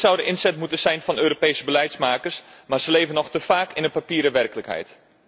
Dit zou de inzet moeten zijn van Europese beleidsmakers, maar zij leven nog te vaak in een papieren werkelijkheid.